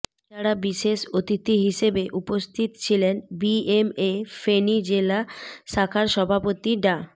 এছাড়া বিশেষ অতিথি হিসেবে উপস্থিত ছিলেন বিএমএ ফেনী জেলা শাখার সভাপতি ডা